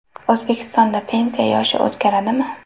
O‘zbekistonda pensiya yoshi o‘zgaradimi?